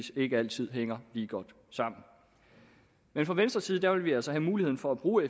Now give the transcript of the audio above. ikke altid hænger lige godt sammen men fra venstres side vil vi altså have muligheden for at bruge